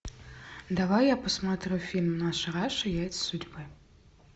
давай я посмотрю фильм наша раша яйца судьбы